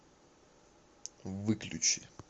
выключи